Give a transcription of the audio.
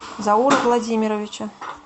заура владимировича